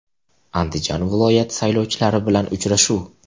Andijon viloyati saylovchilari bilan uchrashuv.